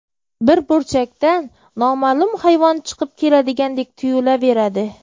Bir burchakdan noma’lum hayvon chiqib keladigandek tuyulaveradi.